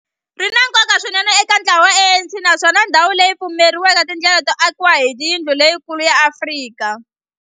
Ri na nkoka swinene eka ntlawa wa ANC, naswona ndhawu leyi yi pfulrile tindlela to akiwa ka yindlu leyikulu ya Afrika.